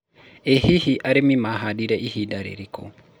ĩ hihi arĩmi mahandire ihinda rĩrĩkũ